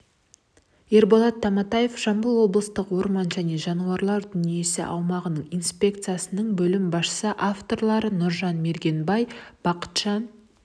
ерболат таматаев жамбыл облыстық орман және жануарлар дүниесі аумақтық инспекциясының бөлім басшысы авторлары нұржан мергенбай бақытжан